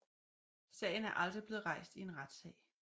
Sagen er aldrig blevet rejst i en retssag